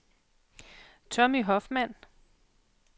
Tommy Hoffmann